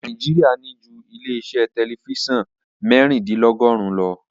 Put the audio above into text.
Nàíjíríà ní ju ilé-iṣẹ́ tẹlifíṣàn mẹ́rìndínlọ́gọ́rùn-ún lọ.